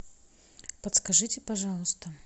подскажите пожалуйста